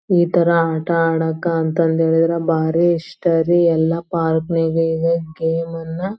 ಈ ತರ ಆಟ ಅಡಾಕ್ಕಂತ ಅಂದಿದ್ರೆ ಭಾರಿ ಇಷ್ಟ ರೀ ಎಲ್ಲ ಪಾರ್ಕ್ ನಾಗ ಈಗ ಗೇಮ್ ಎಲ್ಲ --